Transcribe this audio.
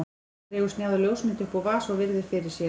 Dregur snjáða ljósmynd upp úr vasa og virðir fyrir sér.